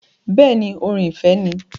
Bẹẹni, orin ìfẹ́ ni